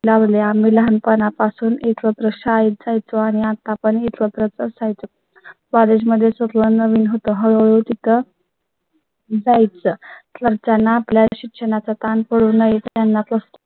लावले आम्ही लहानपणापासून एकत्र शाळेत जायच़ो आणि आता पण इतरत्र तसा. College मध्येच व्हावी म्हणून तिथं . जाय चं तर त्यांना फ्लॅट शिक्षणाचा कान पडू नये